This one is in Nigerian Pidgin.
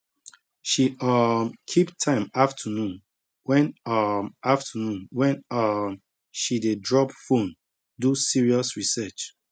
she um keep time afternoon wen um afternoon wen um she dey drop phone do serious research